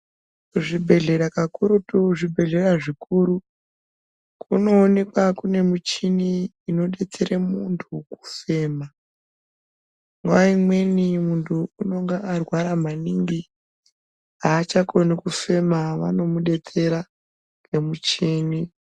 Zvibhedhlera kakurutu zvibhedhlera zvikuru kunoonekwa kune muchini inodetsere muntu kufema nguwa imweni muntu unenge arwara maningi aachakoni kufema vanomudetsera ngemuchini.